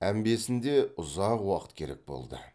әмбесінде ұзақ уақыт керек болды